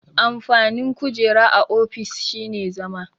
Amfanin kujera a ofis shine zama.